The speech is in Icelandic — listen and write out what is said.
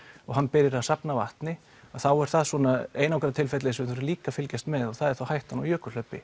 og hann byrjar að safna vatni að þá er það svona einangrað tilfelli sem við þurfum líka að fylgjast með og það er þá hættan á